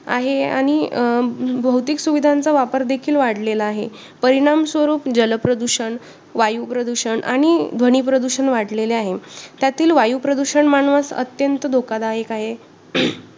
आहे आणि अं बहुतेक सुविधांचा वापर देखील वाढलेला आहे. परिणाम स्वरूप जलप्रदूषण, वायूप्रदूषण आणि ध्वनीप्रदूषण वाढलेले आहे. त्यातील वायूप्रदूषण मानवास अत्यंत धोकादायक आहे